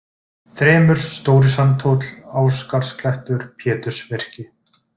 Þrymur, Stóri-Sandhóll, Ásgarðsklettur, Pétursvirki